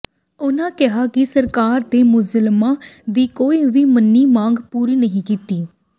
ਉਹਨਾਂ ਕਿਹਾ ਕਿ ਸਰਕਾਰ ਨੇ ਮੁਲਾਜ਼ਮਾਂ ਦੀ ਕੋਈ ਵੀ ਮੰਨੀ ਮੰਗ ਪੂਰੀ ਨਹੀ ਕੀਤੀ